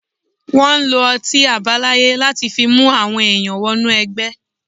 Wọ́n lo ọtí àbáláyé láti fi mú àwọn èèyàn wọ́nú ẹgbẹ́.